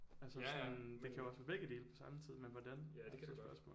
Altså sådan det kan også være begge dele på samme tid men hvordan er så spørgsmålet